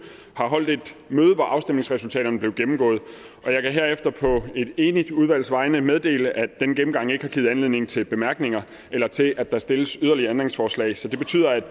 har holdt et møde hvor afstemningsresultaterne blev gennemgået og jeg kan herefter på et enigt udvalgs vegne meddele at denne gennemgang ikke har givet anledning til bemærkninger eller til at der stilles yderligere ændringsforslag så det betyder at